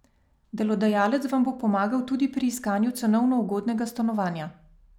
Delodajalec vam bo pomagal tudi pri iskanju cenovno ugodnega stanovanja.